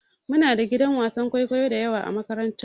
Muna da gidan wasan kwaikwayo dayawa a makaranta.